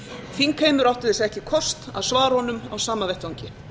þingheimur átti þess ekki kost að svara honum á sama vettvangi